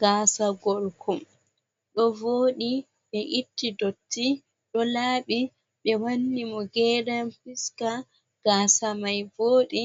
Gasa gorko ɗo voɗi ɓe itti dotti ɗo laɓi ɓe wanni mo geran fiska, gasa mai voɗi